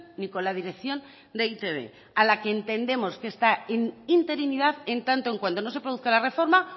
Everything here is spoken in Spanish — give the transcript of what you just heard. ni con la dirección de e i te be a la que entendemos que esta interinidad en tanto en cuando no se produzca la reforma